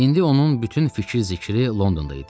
İndi onun bütün fikir-zikri Londonda idi.